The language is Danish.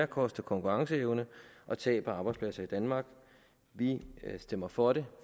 koste konkurrenceevne og tab af arbejdspladser i danmark vi stemmer for det